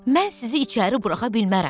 Mən sizi içəri buraxa bilmərəm.